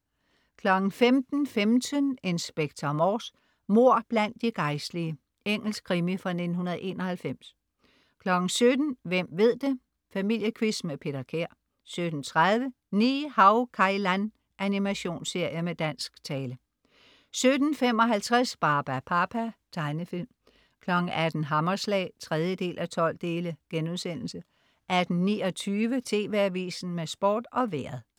15.15 Inspector Morse: Mord blandt de gejstlige. Engelsk krimi fra 1991 17.00 Hvem ved det? Familiequiz med Peter Kær 17.30 Ni-Hao Kai Lan. Animationsserie med dansk tale 17.55 Barbapapa. Tegnefilm 18.00 Hammerslag 3:12* 18.29 TV AVISEN med Sport og Vejret